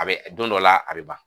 A be don dɔ la, a be ban.